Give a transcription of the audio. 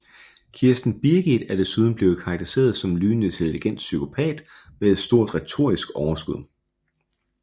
Kirsten Birgit er desuden blevet karakteriseret som en lynende intelligent psykopat med et stort retorisk overskud